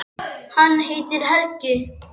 Þeir voru í sjötta bekk.